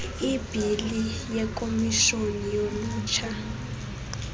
ibhili yekomishoni yolutsha